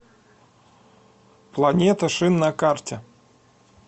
планета шин на карте